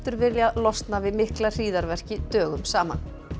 viljað losna við mikla dögum saman